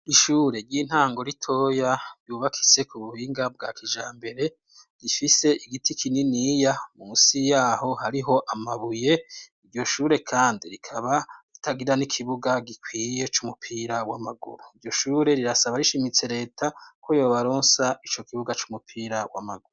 ishure ry'intango ritoya yubakise ku buhinga bwa kijambere gifise igiti kininiya musi yaho hariho amabuye iryoshure kandi rikaba ritagira n'ikibuga gikwiye c'umupira w'amaguru iyoshure rirasaba rishimitse leta ko yo baronsa icyo kibuga c'umupira w'amaguru